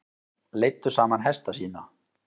Leiddu saman hesta sína